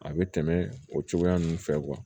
A bɛ tɛmɛ o cogoya ninnu fɛ